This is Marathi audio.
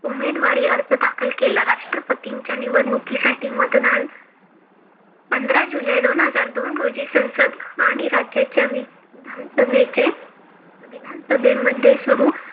उमेदवारी अर्ज दाखल केला. राष्ट्रपतीच्या निवडणुकीसाठी मतदान पंधरा जुलै दोन हजार दोन रोजी संसद आणि राज्याच्या विधानसभेचे विधानसभेमध्ये सुरु